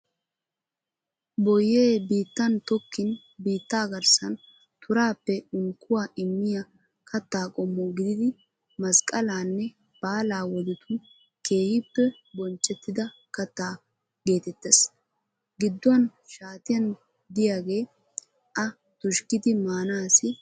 Boyyee biittan tokkin biitta garssan turaappe unkkuwa immiya katta qommo gididi masqqalanne baala wodetun keehippe bonchchettida katta geetettees. Gidduwan shaatiyan de'iyaage a tushkkidi maanaassi maaddeees.